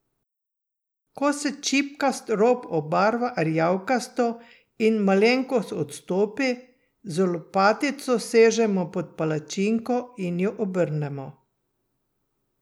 Ko se čipkast rob obarva rjavkasto in malenkost odstopi, z lopatico sežemo pod palačinko in jo obrnemo.